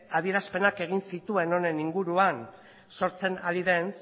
adierazpenak egin zituen honen inguruan sortzen ari den